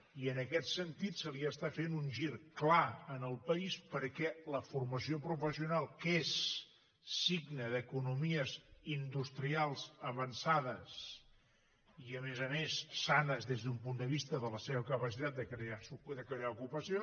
i en aquest sentit se li està fent un gir clar en el país perquè la formació professional que és signe d’economies industrials avançades i a més a més sanes des d’un punt de vista de la seva capacitat de crear ocupació